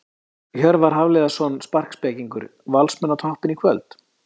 Hjörvar Hafliðason sparkspekingur: Valsmenn á toppinn í kvöld?